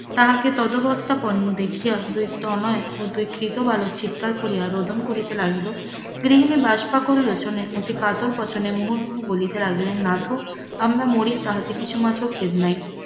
তাহাকে তদবস্থা পন্ন দেখি দুই তনয় ও দুই কৃত বালক চিৎকার করিয়া রোদন করিতে লাগিল, গৃহিনী কাতর বচনে মুহুরমুহ বলিতে লাগিল নাথ আমরা মরি তাহাতে কিছুমাত্র খেদ নাই,